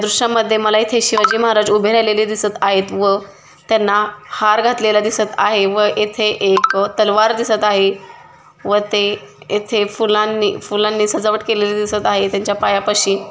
दृश्यामद्धे मला इथे शिवाजी महाराज उभे राहिलेले दिसत आहेत व त्यांना हार घातलेला दिसत आहे व येथे एक तलवार दिसत आहे व ते येथे फुलांनी फुलांनी सजावट केलेली दिसत आहे त्यांच्या पायापाशी --